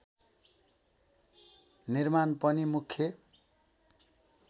निर्माण पनि मुख्य